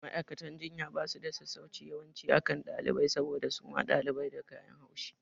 Ma'aikatan jinya basu da sassauci yawanci akan ɗalibai saboda suma ɗalibai da kayan haushi